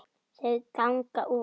Þau ganga út.